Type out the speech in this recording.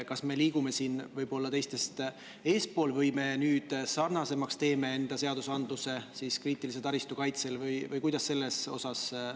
Kas me liigume siin teistest eespool või teeme me nüüd enda seaduse kriitilise taristu kaitse mõttes teiste riikide omaga sarnasemaks?